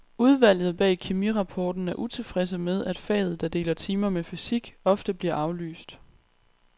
Udvalget bag kemirapporten er utilfredse med, at faget, der deler timer med fysik, ofte bliver aflyst.